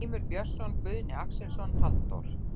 Grímur Björnsson, Guðni Axelsson, Halldór